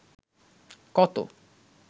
কত